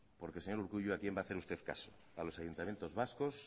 porque señor urkullu a quién va hacer usted caso a los ayuntamientos vascos